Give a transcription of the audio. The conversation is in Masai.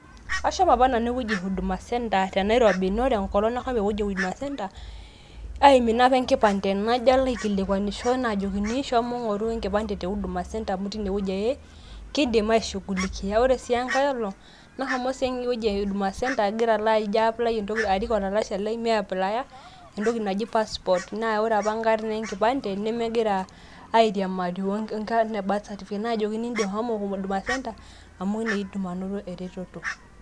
ashomo apa nanu ewueji e huduma center te Nairobi naa ore enkolong nashomo ewueji e huduma center, aimina apa enkipande, najo alo aikilikwanisho naajokini, shomo ngoru enkipande te huduma center, amu teine wueji ake kidim aishungulikia, ore sii tenkae olong' nashomo sii ewueji e huduma center agira Alo arik olalashe Lai ,me apply entoki naji passport, amu ore apa inkarn enkipande nemeiriamari onkarn e birth certificate naajokini shomo huduma center amu teine idim anoto eretoto.